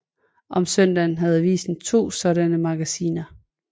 Om søndagen havde avisen to sådanne magasiner